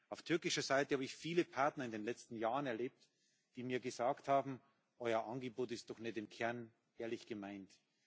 Auf türkischer Seite habe ich viele Partner in den letzten Jahren erlebt, die mir gesagt haben Euer Angebot ist doch nicht im Kern ehrlich gemeint.